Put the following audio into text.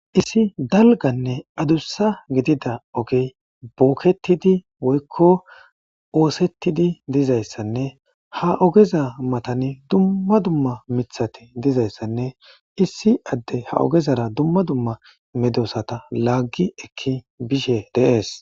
Issi dalgganne adussa giidida oggey bokkettidinne woykko ossettidi dizayssanne ha oggeza mattan dumma dumma miththati dizayssanne issi adey ha oggezara daaro meddossata laggi ekki bishshe de'eess.